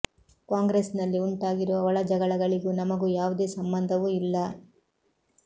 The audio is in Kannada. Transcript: ಕಾಂಗ್ರೆಸ್ ನಲ್ಲಿ ಉಂಟಾಗಿರುವ ಒಳ ಜಗಳಗಳಿಗೂ ನಮಗೂ ಯಾವುದೇ ಸಂಬಂಧವೂ ಇಲ್ಲ